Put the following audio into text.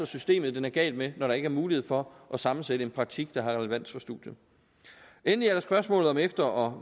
systemet den er gal med når der ikke er mulighed for at sammensætte en praktik der har relevans for studiet endelig er der spørgsmålet om efter og